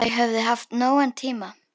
Þau höfðu haft nógan tíma.